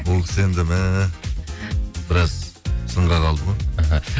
ол кісі енді мә біраз сынға қалды ғой іхі